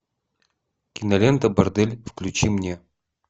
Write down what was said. кинолента бордель включи мне